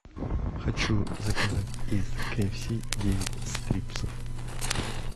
хочу заказать из ки эф си девять стрипсов